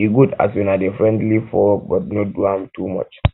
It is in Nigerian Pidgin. e good as una dey friendly for work but no do am too much